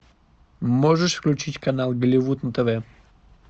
можешь включить канал голливуд на тв